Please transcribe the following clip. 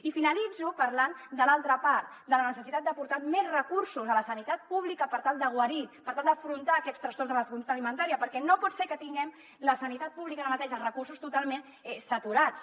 i finalitzo parlant de l’altra part de la necessitat d’aportar més recursos a la sanitat pública per tal de guarir per tal d’afrontar aquests trastorns de la conducta alimentària perquè no pot ser que tinguem a la sanitat pública ara mateix els recursos totalment saturats